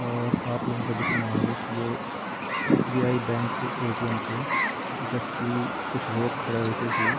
और आप लोगू थे दिखेणु ह्वालू की यो एस.बी.आई. बैंक कु ए.टी.एम. च जख की कुछ लोग खड़ा ह्वेके की --